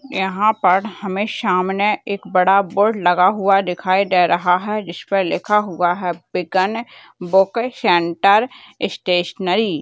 यहाँ पर हमे सामने एक बड़ा बोर्ड लगा हुआ दिखाई दे रहा है जिसपे लिखा हुआ है विगन बुक सेंटर स्टेशनरी ।